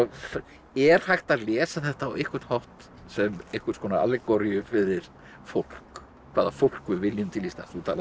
er hægt að lesa þetta á einhvern hátt sem einhvers konar fyrir fólk hvaða fólk við viljum til Íslands þú talar um